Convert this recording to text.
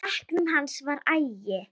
Í bekknum hans var agi.